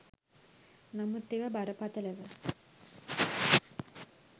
නමුත් ඒවා බරපතළව